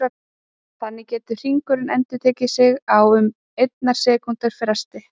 Þannig getur hringurinn endurtekið sig á um einnar sekúndu fresti.